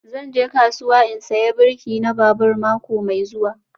Zan je kasuwa in saya birki na babur mako mai zuwa